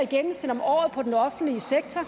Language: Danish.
at i den offentlige sektor